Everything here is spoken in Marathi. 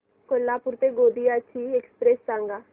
कोल्हापूर ते गोंदिया ची एक्स्प्रेस सांगा